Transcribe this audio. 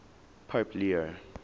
pope leo